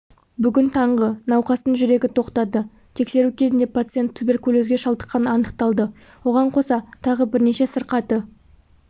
бүгін таңғы науқастың жүрегі тоқтады тексеру кезінде пациент туберкулезге шалдыққаны анықталды оған қоса тағы бірнеше сырқаты